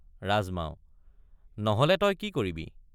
ৰাজমাও— নহলে তই কি কৰিবি?